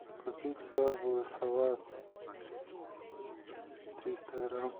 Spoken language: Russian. купить крабовый салат триста грамм